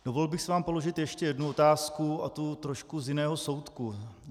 Dovolil bych si vám položit ještě jednu otázku, a to trošku z jiného soudku.